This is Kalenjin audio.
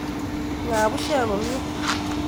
Ngaa bushek komie